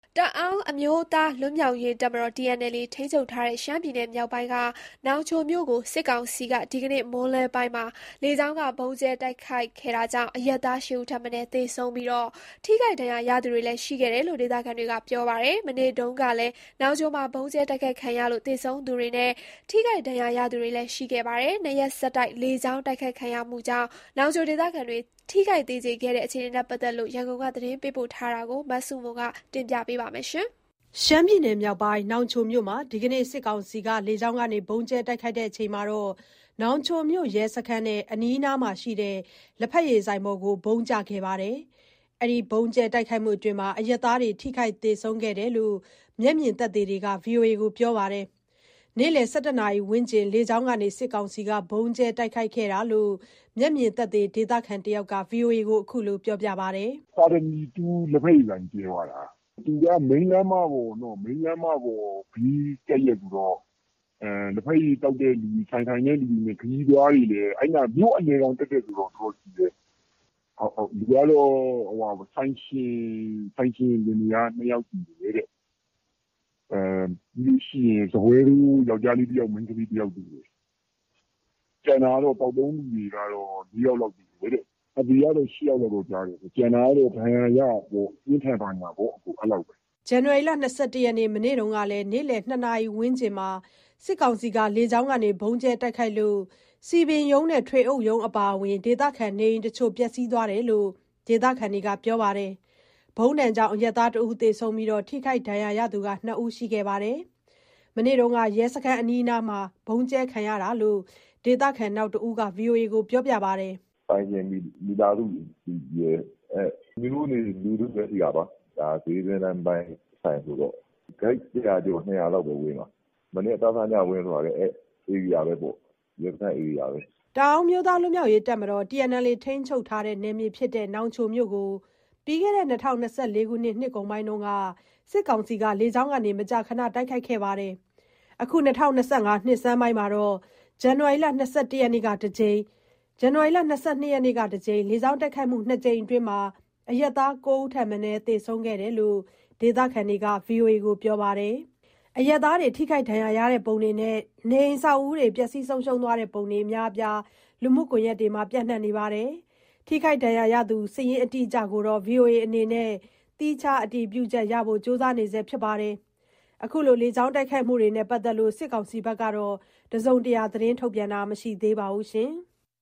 တအောင်းအမျိုးသား လွတ်မြောက်ရေးတပ်မတော် TNLA ထိန်းချုပ်ထားတဲ့ ရှမ်းပြည်နယ်မြောက်ပိုင်းက နောင်ချိုမြို့ကို စစ်ကောင်စီက ဒီနေ့မွန်းလွဲပိုင်းမှာ လေကြောင်းက ဗုံးကြဲတိုက်ခိုက်ခဲ့တာကြောင့် အရပ်သား ၈ ဦးထက်မနည်း သေဆုံးပြီး၊ ထိခိုက်ဒဏ်ရာရသူတွေလည်း ရှိခဲ့တယ်လို့ ဒေသခံတွေက ပြောပါတယ်။ မနေ့တုန်းကလည်း နောင်ချိုမှာ ဗုံးကြဲတိုက်ခိုက်ခံရလို့ သေဆုံးသူနဲ့ ထိခိုက်ဒဏ်ရာရသူတွေ ရှိခဲ့ပါတယ်။ နောင်ချိုမြို့မှာ ၂ ရက်ဆက် လေကြောင်းတိုက်ခိုက်ခံရတဲ့ အခြေအနေ ရန်ကုန်ကနေ သတင်းပေးပို့ထားပါတယ်။ နောင်ချိုမြို့မှာ ဒီနေ့ စစ်ကောင်စီ လေကြောင်းကနေ တိုက်ခိုက်ချိန်မှာ နောင်ချိုမြို့ ရဲစခန်းနဲ့ အနီးနားမှာရှိတဲ့ လက်ဖက်ရည်ဆိုင်ပေါ်ကို ဗုံးကျခဲ့လို့ အရပ်သားတွေ ထိခိုက်၊ သေဆုံးခဲ့တာလို့ မျက်မြင်သက်သေတွေက ပြောပါတယ်။ နေ့လည် ၁၁ နာရီဝန်းကျင် လေကြောင်းကနေ ဗုံးကြဲတိုက်ခိုက်ခဲ့တာလို့ မျက်မြင်သက်သေ ဒေသခံတယောက်က VOA ကို ပြောပါတယ်။ "ပါရမီ ၂ လက်ဖက်ရည်ဆိုင်ကို ကြဲသွားတာ။ သူက မိန်းလမ်းမပေါ် ဘေးကပ်လျက်ဆိုတော့ လက်ဖက်ရည်သောက်တဲ့သူ၊ ဆိုင်ထိုင်တဲ့သူတွေနဲ့ ခရီးသွားတွေနဲ့။ အဲဒီနားက မြို့အလယ်ခေါင် တည့်တည့်ဆိုတော့။ လူကတော့ ဆိုင်ရှင်လင်မယား ၂ ယောက်သေတယ်။ စားပွဲထိုး ယောကျ်ားလေး ၁ ယောက်၊ မိန်းကလေး ၁ ယောက်သေတယ်။ ကျန်တာကတော့ သောက်သုံးသူတွေကတော့ ၄ ယောက်လောက်သေတယ်။ သေတာကတော့ ၈ ယောက်လို့တော့ကြားတယ်။ ကျန်တာကတော့ ပြင်းထန်ဒဏ်ရာ ရကြတာပေါ့။" ဇန်နဝါရီလ ၂၁ ရက်၊ မနေ့တုန်းကလည်း နေ့လည် ၂ နာရီဝန်းကျင်မှာ လေကြောင်းကနေ ဗုံးကြဲချလို့ စည်ပင်ရုံးနဲ့ ထွေအုပ်ရုံးအပါအဝင် ဒေသခံနေအိမ်တချို့ ပျက်စီးသွားတယ်လို့ ဒေသခံတွေက ပြောပါတယ်။ ဗုံးဒဏ်ကြောင့် အရပ်သား ၁ဦး သေဆုံးပြီး၊ ထိခိုက်ဒဏ်ရာရသူ ၂ ဦးရှိခဲ့ပါတယ်။ မနေ့တုန်းကလည်း ရဲစခန်းအနီးနားမှာ ဗုံးကြဲခံရတာလို့ ဒေသခံနောက်တဦးက ဗွီအိုအေကို ပြောပါတယ်။ "ဆိုင်ရှင်မိသားစုရယ်၊ မြို့နေလူထုပဲ ရှိတာပါ။ ဒါ စျေးအတွင်းလမ်းပိုင်း ဆိုင်ဆိုတော့။ ရဲစခန်းနဲ့က ကိုက် ၁၀၀ ကျော်၊ ၂၀၀ လောက်ပဲဝေးတာ။ မနေ့က ဖြစ်သွားတာလည်း အဲဒီရဲစခန်း ဧရိယာထဲပဲ။" တအာင်းအမျိုးသားလွတ်မြောက်ရေးတပ်မတော် TNLA ထိန်းချုပ်ထားတဲ့ နောင်ချိုမြို့ကို ပြီးခဲ့တဲ့ ၂၀၂၄ နှစ်ကုန်ပိုင်းက လေကြောင်းကနေ မကြာခဏ တိုက်ခိုက်တာတွေရှိခဲ့ပါတယ်။ အခု ၂၀၂၅ နှစ်ဆန်းပိုင်းမှာတော့ ဇန်နဝါရီလ ၂၁ နဲ့ ၂၂ ရက်နေ့တွေမှာ လေကြောင်းတိုက်ခိုက်မှု ၂ ကြိမ်အတွင်း အရပ်သား ၉ ဦးထက်မနည်း သေဆုံးခဲ့တယ်လို့ ဒေသခံတွေက ပြောပါတယ်။ အရပ်သားတွေ ထိခိုက်ဒဏ်ရာရတဲ့ ပုံတွေနဲ့ အဆောက်အဦးတွေ ပျက်စီးသွားတဲ့ ပုံတွေ အများအပြား လူမှုကွန်ယက်တွေမှာ ပျံ့နှံ့နေပြီး ထိခိုက်ဒဏ်ရာရသူ စာရင်း အတိအကျကို VOA အနေနဲ့ သီးခြား အတည်ပြုချက်ရဖို့ ကြိုးစားနေဆဲ ဖြစ်ပါတယ်။ လေကြောင်းတိုက်ခိုက်မှုတွေနဲ့ ပတ်သက်လို့ စစ်ကောင်စီဘက်က သတင်းထုတ်ပြန်တာ မရှိသေးပါဘူး။